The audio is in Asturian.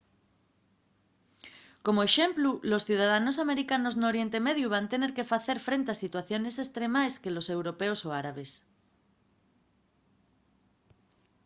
como exemplu los ciudadanos americanos n’oriente mediu van tener que facer frente a situaciones estremaes que los europeos o árabes